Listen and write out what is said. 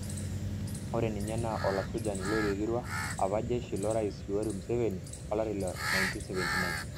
Ore ninye naa olasujani loloiterua apa jeshi lorais Yoweri Museveni olari le 1979.